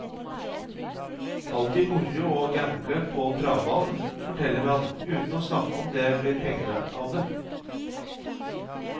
Alltid moro å gamble på travbanen, forteller han uten å snakke om det blir penger av det.